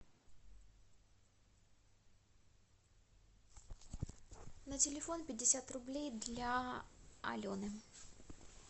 на телефон пятьдесят рублей для алены